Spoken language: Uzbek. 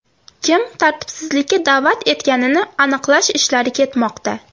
Kim tartibsizlikka da’vat etganini aniqlash ishlari ketmoqda.